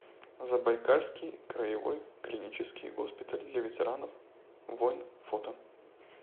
забайкальский краевой клинический госпиталь для ветеранов войн фото